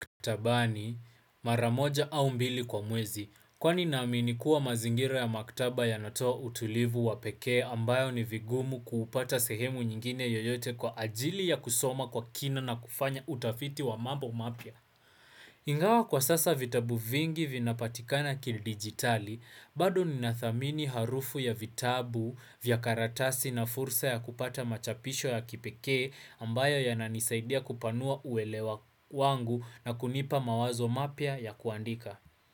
Maktabani mara moja au mbili kwa mwezi kwani naamini kuwa mazingira ya maktaba yanatoa utulivu wa pekee ambayo ni vigumu kuupata sehemu nyingine yoyote kwa ajili ya kusoma kwa kina na kufanya utafiti wa mambo mapya. Ingawa kwa sasa vitabu vingi vinapatikana kidigitali, bado ninathamini harufu ya vitabu vya karatasi na fursa ya kupata machapisho ya kipekee ambayo yananisaidia kupanua uelewa wangu na kunipa mawazo mapya ya kuandika.